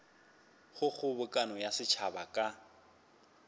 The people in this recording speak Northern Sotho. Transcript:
go kgobokano ya setšhaba ka